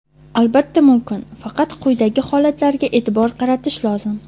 Albatta mumkin faqat quyidagi holatlarga eʼtibor qaratish lozim:.